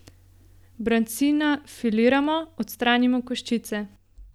Brancina filiramo, odstranimo koščice.